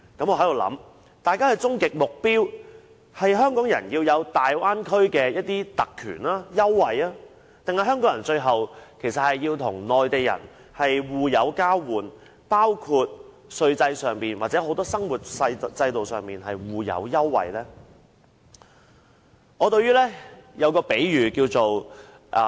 我不禁想大家的終極目標，究竟是要讓香港人擁有在大灣區的特權、優惠，還是香港人最後要與內地人互有交換，包括稅制上或生活制度上互有優惠呢？